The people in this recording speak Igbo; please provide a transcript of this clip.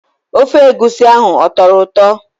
Ofe egwusi ahụ ọ tọrọ ụtọ?